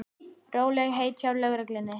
Rólegheit hjá lögreglunni